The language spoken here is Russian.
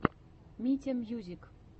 митя мьюзик